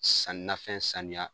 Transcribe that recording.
Sanninafɛn sanuya